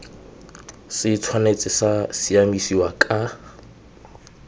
se tshwanetse sa siamisiwa ka